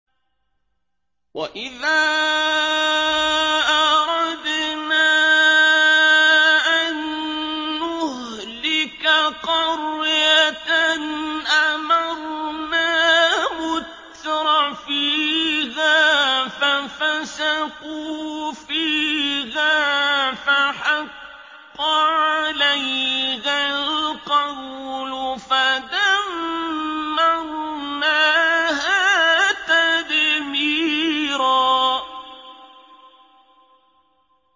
وَإِذَا أَرَدْنَا أَن نُّهْلِكَ قَرْيَةً أَمَرْنَا مُتْرَفِيهَا فَفَسَقُوا فِيهَا فَحَقَّ عَلَيْهَا الْقَوْلُ فَدَمَّرْنَاهَا تَدْمِيرًا